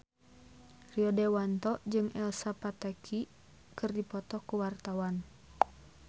Rio Dewanto jeung Elsa Pataky keur dipoto ku wartawan